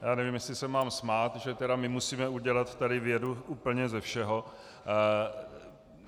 Já nevím, jestli se mám smát, že tedy my musíme udělat tady vědu úplně ze všeho.